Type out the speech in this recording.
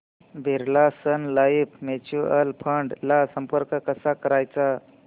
Birla sun life mutual fund ला संपर्क कसा करायचा